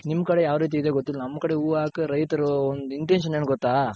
ನಿಮ್ ಕಡೆ ಯಾವ್ ರೀತಿ ಇದ್ಯೋ ಗೊತ್ತಿಲ್ಲ ನಮ್ ಕಡೆ ಹೂವ ಹಾಕ್ ರೈತರು ಒಂದ್ intention ಏನ್ ಗೊತ್ತ.